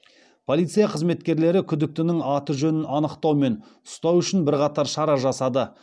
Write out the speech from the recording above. полиция қызметкерлері күдіктінің аты жөнін анықтау мен ұстау үшін бірқатар шара жасады